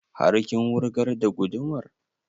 Har kin wurgar da gudumar?